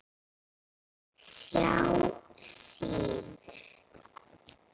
SJÁ SÍÐU.